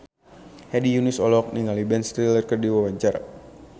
Hedi Yunus olohok ningali Ben Stiller keur diwawancara